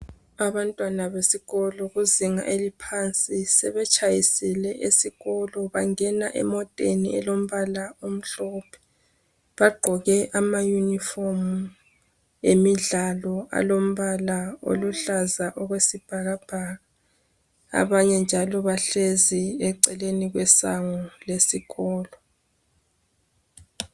Abantwana besikolo kuzinga eliphansi sebetshayisile esikolo bangena emoteni elombala omhlophe. Bagqoke amayunifomu emidlalo alombala oluhlaza okwesibhakabhaka. Abanye njalo bahlezi eceleni kwesango lesikolo.